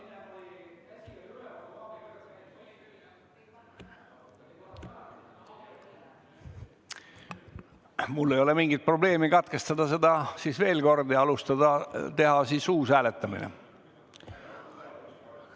Mulle ei ole küll mingi probleem katkestada see veel kord ja teha uus hääletamine.